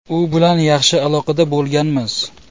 U bilan yaxshi aloqada bo‘lganmiz.